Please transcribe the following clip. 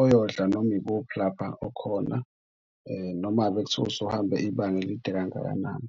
oyodla noma ikuphi lapho okhona noma ngabe kuthiwa usuhambe ibanga elide kangakanani.